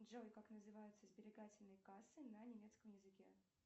джой как называются сберегательные кассы на немецком языке